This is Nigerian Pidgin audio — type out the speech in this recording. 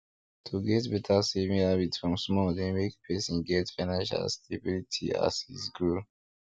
to get better saving habit from small dey make person get financial stability as his grow